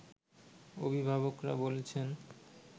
অভিভাবকরা বলছেন